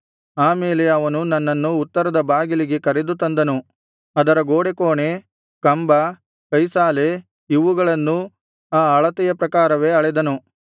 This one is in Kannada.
ಆ ಮೇಲೆ ಅವನು ನನ್ನನ್ನು ಉತ್ತರದ ಬಾಗಿಲಿಗೆ ಕರೆದು ತಂದನು ಅದರ ಗೋಡೆಕೋಣೆ ಕಂಬ ಕೈಸಾಲೆ ಇವುಗಳನ್ನೂ ಆ ಅಳತೆಯ ಪ್ರಕಾರವೇ ಅಳೆದನು